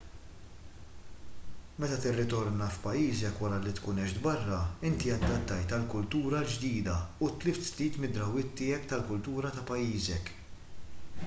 meta tirritorna f'pajjiżek wara li tkun għext barra inti adattajt għall-kultura l-ġdida u tlift ftit mid-drawwiet tiegħek tal-kultura ta' pajjiżek